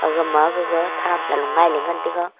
amaga gaga thamsa loe lailey ngan taiga.